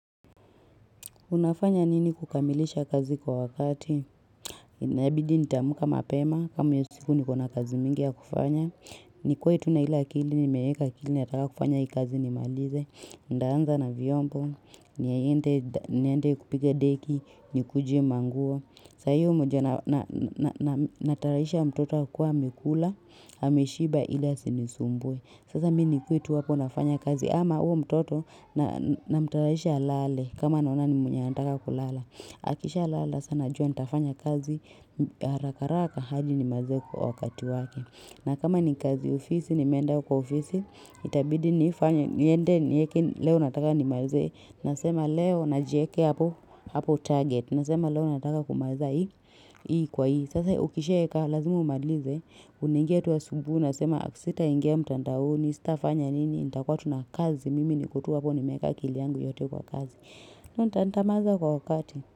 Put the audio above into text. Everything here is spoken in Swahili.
Unafanya nini kukamilisha kazi kwa wakati? Inabidi nitaamka mapema, kama hiyo siku niko na kazi mingi ya kufanya. Nikue tu na ile akili, nimeeka akili, nikitaka kufanya hii kazi nimalize. Ndaanza na vyombo, niende kupikga deki, nikuje manguo Sa hiyo moja natayarisha mtoto akue amekula, ameshiba ili asinisumbue. Sasa mimi nikue tu hapo nafanya kazi ama huyo mtoto namtayarahisha lalale. Kama naona ni mwenye anataka kulala Akishalala sasa najua nitafanya kazi haraka haraka hadi nimalize kwa wakati wake na kama ni kazi ya ofisi nimeenda kwa ofisi Itabidi nifanye niende niweke leo nataka nimalize Nasema leo na jiekea hapo target Nasema leo nataka kumaliza hii kwa hii Sasa ukishaeka lazima umalize unaingia tu asubuhi unasema sitaingia mtandaoni sitafanya nini nitakuwa tu na kazi Mimi niko tu hapo nimeeka akili yangu yote kwa kazi na nitamaliza kwa wakati.